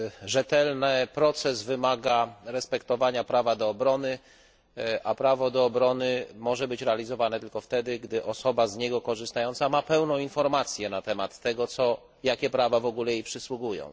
Rzetelny proces wymaga respektowania prawa do obrony, a prawo do obrony może być realizowane tylko wtedy, gdy osoba z niego korzystająca ma pełną informację na temat tego, jakie prawa w ogóle jej przysługują.